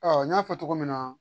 Ɔ n y'a fɔ cogo min na